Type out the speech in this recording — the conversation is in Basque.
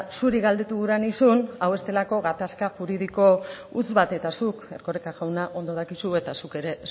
zuri galdetu gura nizun hau ez delako gatazka juridiko huts bat eta zuk erkoreka jauna ondo dakizu eta zuk ere